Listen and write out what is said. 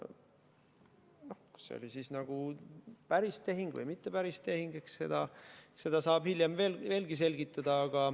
Noh, kas see oli siis nagu päris tehing või mitte päris tehing, eks seda saab hiljem veel selgitada.